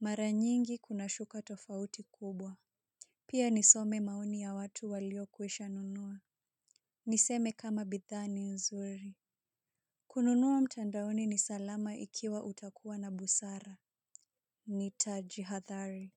Mara nyingi kunashuka tofauti kubwa. Pia nisome maoni ya watu waliokwisha nunua. Niseme kama bidhaa ni nzuri. Kununua mtandaoni ni salama ikiwa utakuwa na busara. Nitajihadhari.